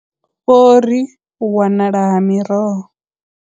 Vho ri u wanala ha miroho.